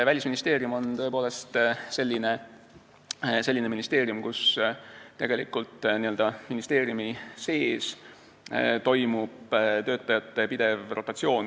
Välisministeerium on tõepoolest selline ministeerium, kus toimub töötajate pidev rotatsioon.